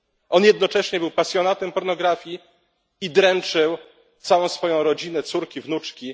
On jednocześnie był pasjonatem pornografii i dręczył całą swoją rodzinę, córki, wnuczki.